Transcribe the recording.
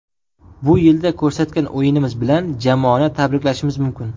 Bu yilda ko‘rsatgan o‘yinimiz bilan jamoani tabriklashimiz mumkin.